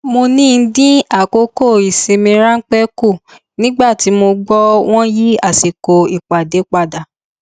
mo ní dín àkókò ìsinmi ráńpẹ kù nígbà tí mo gbọ wọn yí àsìkò ìpàdé padà